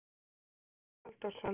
Ólafur Halldórsson.